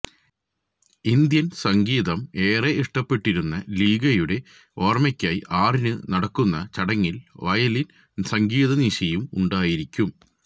Indian സംഗീതം ഏറെ ഇഷ്ടപ്പെട്ടിരുന്ന ലിഗയുടെ ഓർമയ്ക്കായി ആറിനു നടക്കുന്ന ചടങ്ങിൽ വയലിൻ സംഗീതനിശയും ഉണ്ടായിരിക്കും